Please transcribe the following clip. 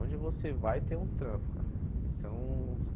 Onde você vai, tem um trampo, cara. Isso é um